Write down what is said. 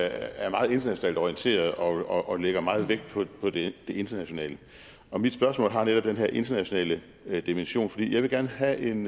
er meget internationalt orienteret og lægger meget vægt på det internationale og mit spørgsmål har netop den her internationale dimension for jeg vil gerne have en